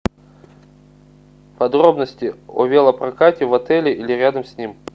подробности о велопрокате в отеле или рядом с ним